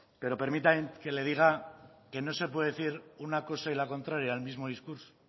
pero permítame que le diga que no se puede decir una cosa y la contraria en el mismo discurso